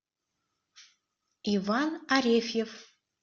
иван арефьев